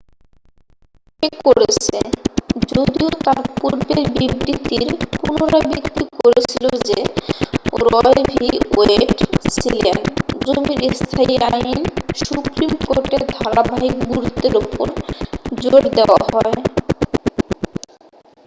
"সে করেছে যদিও তার পূর্বের বিবৃতির পুনরাবৃত্তি করেছিল যে রয় ভি ওয়েড ছিলেন "জমির স্থায়ী আইন" সুপ্রিম কোর্টের ধারাবাহিক গুরুত্বের ওপর জোর দেয়া হয় ।